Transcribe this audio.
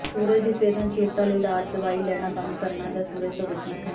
ਸੂਰਜ ਦੀ ਸੰਵੇਦਨਸ਼ੀਲਤਾ ਲਈ ਇਲਾਜ ਦਵਾਈ ਲੈਣਾ ਬੰਦ ਕਰਨਾ ਜਾਂ ਸੂਰਜ ਤੋਂ ਬਚਣਾ ਹੈ